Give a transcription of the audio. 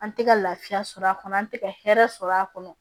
An tɛ ka lafiya sɔrɔ a kɔnɔ an tɛ ka hɛrɛ sɔrɔ a kɔnɔ